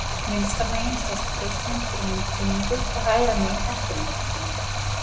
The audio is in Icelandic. Vinstra megin sést brjóstamynd fyrir myndgreiningu og hægra megin eftir myndgreiningu.